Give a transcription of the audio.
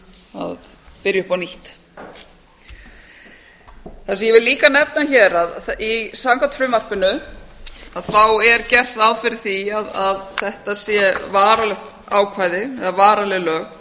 að byrja upp á nýtt það sem ég vil líka nefna hér að samkvæmt frumvarpinu er gert ráð fyrir því að þetta sé varanlegt ákvæði eða varanleg lög